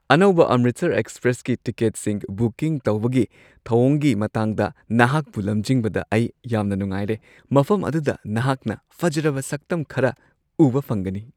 ꯑꯅꯧꯕ ꯑꯝꯔꯤꯠꯁꯔ ꯑꯦꯛꯁꯄ꯭ꯔꯦꯁꯀꯤ ꯇꯤꯀꯦꯠꯁꯤꯡ ꯕꯨꯀꯤꯡ ꯇꯧꯕꯒꯤ ꯊꯧꯑꯣꯡꯒꯤ ꯃꯇꯥꯡꯗ ꯅꯍꯥꯛꯄꯨ ꯂꯝꯖꯤꯡꯕꯗ ꯑꯩ ꯌꯥꯝꯅ ꯅꯨꯡꯉꯥꯏꯔꯦ, ꯃꯐꯝ ꯑꯗꯨꯗ ꯅꯍꯥꯛꯅ ꯐꯖꯔꯕ ꯁꯛꯇꯝ ꯈꯔ ꯎꯕ ꯐꯪꯒꯅꯤ ꯫